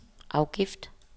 afgift